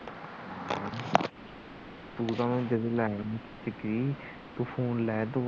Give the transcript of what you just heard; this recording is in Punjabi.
ਤੂੰ ਤਾਂ ਮੈਨੂੰ